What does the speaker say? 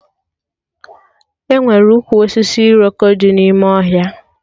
Enwere ụkwụ osisi Iroko dị n'ime ọhịa